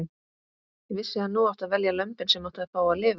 Ég vissi að nú átti að velja lömbin sem áttu að fá að lifa.